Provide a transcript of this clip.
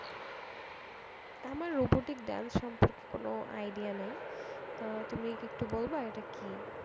আমার robotic dance সম্পর্কে কোন idea নেই আহ তুমি কি একটু বলবে এটা কি?